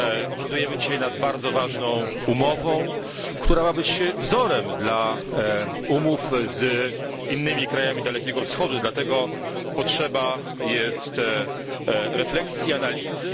Obradujemy dzisiaj nad bardzo ważną umową, która ma być wzorem dla umów z innymi krajami Dalekiego Wschodu, dlatego potrzebujemy refleksji i analizy.